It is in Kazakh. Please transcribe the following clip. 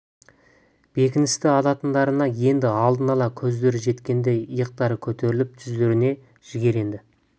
бекіністі алатындарына енді алдын ала көздері жеткендей иықтары көтеріліп жүздеріне жігер енді